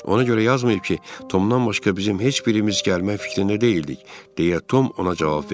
Ona görə yazmayıb ki, Tomdan başqa bizim heç birimiz gəlmək fikrində deyildik, deyə Tom ona cavab verdi.